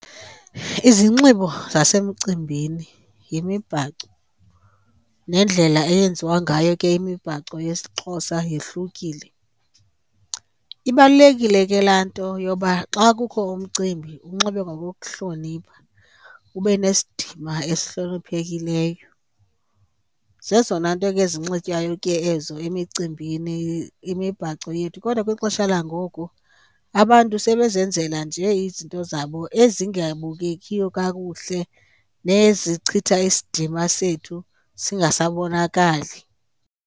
Izinxibo zasemcimbini yimibhaco nendlela eyenziwa ngayo ke imibhaco yesiXhosa yehlukile. Ibalulekile ke laa nto yoba xa kukho umcimbi unxibe ngokokuhlonipha, ube nesidima esihloniphekileyo. Zezona nto ke ezinxitywayo ke ezo emicimbini, imibhaco yethu. Kodwa kwixesha langoku abantu sebezenzela nje izinto zabo ezingabukekiyo kakuhle nezichitha isidima sethu singasabonakali.